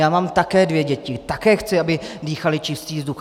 Já mám také dvě děti, také chci, aby dýchaly čistý vzduch.